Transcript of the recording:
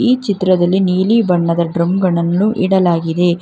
ಈ ಚಿತ್ರದಲ್ಲಿ ನೀಲಿ ಬಣ್ಣದ ಡ್ರಮ್ ಗಳನ್ನು ಇಡಲಾಗಿದೆ.